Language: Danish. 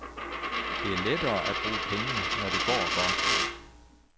Det er lettere at bruge penge, når det går godt.